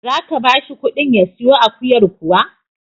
Za ka ba shi ƙuɗin ya siyo akuyar kuwa?